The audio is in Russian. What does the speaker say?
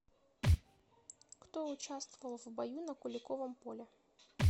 кто участвовал в бою на куликовом поле